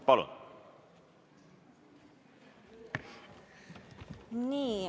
Palun!